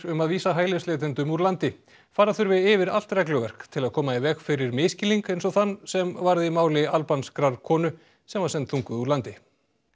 um að vísa hælisleitendum úr landi fara þurfi yfir allt regluverk til að koma í veg fyrir misskilning eins og þann sem varð í máli konu sem var send þunguð úr landi